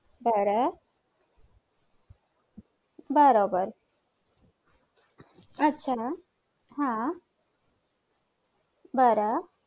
बर बरोबर आच्छा हा बर